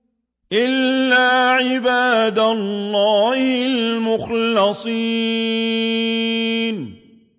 إِلَّا عِبَادَ اللَّهِ الْمُخْلَصِينَ